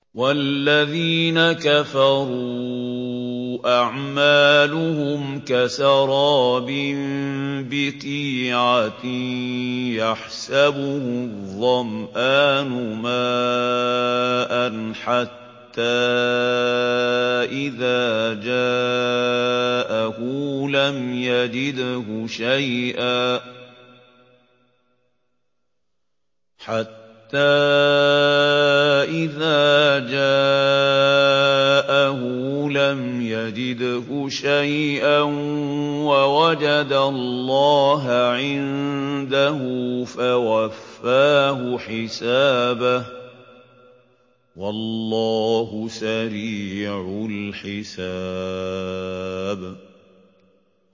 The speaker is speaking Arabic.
وَالَّذِينَ كَفَرُوا أَعْمَالُهُمْ كَسَرَابٍ بِقِيعَةٍ يَحْسَبُهُ الظَّمْآنُ مَاءً حَتَّىٰ إِذَا جَاءَهُ لَمْ يَجِدْهُ شَيْئًا وَوَجَدَ اللَّهَ عِندَهُ فَوَفَّاهُ حِسَابَهُ ۗ وَاللَّهُ سَرِيعُ الْحِسَابِ